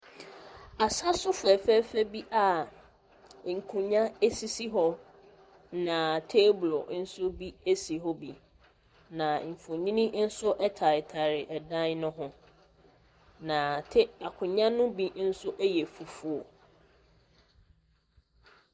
Asaso fɛfɛɛfɛ bi a nkonwa esisi, na teeblo nso bi esi hɔ bi. Na mfonini nso ɛtaretare ɛdan ne ho, na akonwa no bi nso ɛyɛ fufuo.